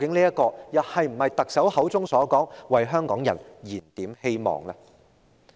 這是否特首所說的為香港人燃點希望呢？